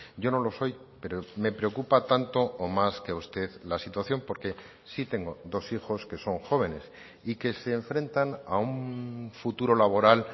yo no lo soy pero me preocupa tanto o más que a usted la situación porque sí tengo dos hijos que son jóvenes y que se enfrentan a un futuro laboral